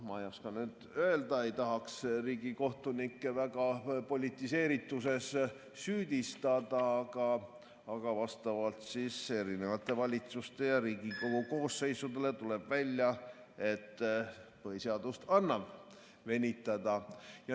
Ma ei oska nüüd öelda, ei tahaks riigikohtunikke väga politiseerituses süüdistada, aga vastavalt erinevate valitsuste ja Riigikogu koosseisudele tuleb välja, et põhiseadust annab venitada.